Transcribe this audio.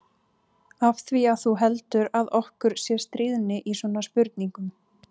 Af því að þú heldur að okkur sé stríðni í svona spurningum.